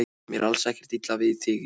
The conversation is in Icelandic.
Mér er alls ekkert illa við þig Júlía.